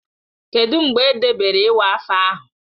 Kedụ mgbe edebere iwa afọ ahụ?